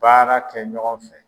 Baara kɛ ɲɔgɔn fɛ